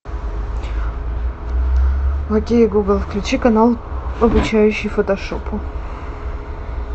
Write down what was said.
окей гугл включи канал обучающий фотошопу